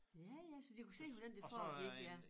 Ja ja så de kunne se hvordan det foregik ja